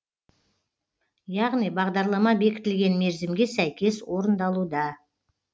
яғни бағдарлама бекітілген мерзімге сәйкес орындалуда